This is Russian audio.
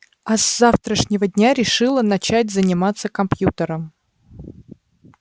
а с завтрашнего дня решила начать заниматься компьютером